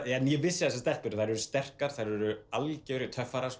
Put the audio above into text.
en ég vissi að þessar stelpur eru sterkar þær eru algjörir töffarar